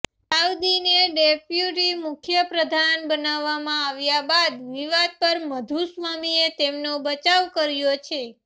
સાવદીને deputy મુખ્યપ્રધાન બનાવવામાં આવ્યા બાદ વિવાદ પર મધુસ્વામીએ તેમનો બચાવ કર્યો છે